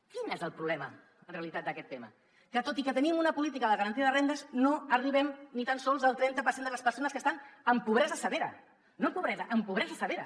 quin és el problema en realitat d’aquest tema que tot i que tenim una política de garantia de rendes no arribem ni tan sols al trenta per cent de les persones que estan en pobresa severa no en pobresa en pobresa severa